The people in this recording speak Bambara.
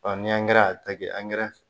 ni y'a ta kɛ